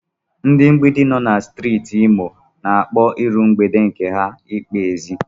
Ndị mgbidi nọ na Steeti Imo n'akpọ iru mgbede nke ha Ịkwa ezi.